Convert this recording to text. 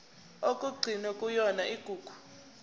okugcinwe kuyona igugu